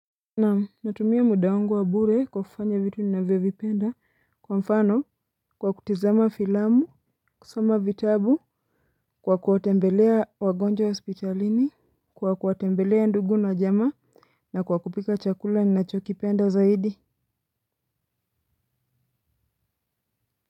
Naam natumia muda wangu wa bure kwa kufanya vitu ninavyovipenda kwa mfano kwa kutizama filamu kusoma vitabu kwa kuwatembelea wagonjwa hospitalini kwa kuwatembelea ndugu na jamaa na kwa kupika chakula ninachokipenda zaidi.